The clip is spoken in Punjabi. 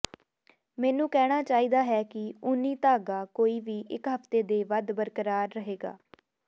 ਮੈਨੂੰ ਕਹਿਣਾ ਚਾਹੀਦਾ ਹੈ ਕਿ ਊਨੀ ਧਾਗਾ ਕੋਈ ਵੀ ਇੱਕ ਹਫ਼ਤੇ ਦੇ ਵੱਧ ਬਰਕਰਾਰ ਰਹੇਗਾ